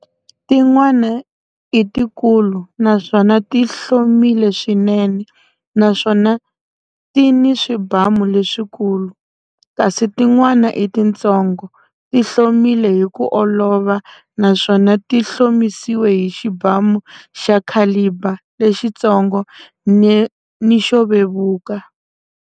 Tin'wana i tikulu naswona ti hlomile swinene naswona ti ni swibamu leswikulu, kasi tin'wana i titsongo, ti hlomile hi ku olova naswona ti hlomisiwe hi xibamu xa caliber lexitsongo ni xo vevuka.